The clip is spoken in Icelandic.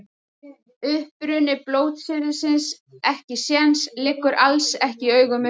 Uppruni blótsyrðisins ekkisens liggur alls ekki í augum uppi.